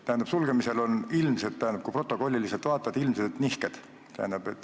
Tähendab, sulgemisel on ilmsed, kui protokolliliselt vaadata, nihked.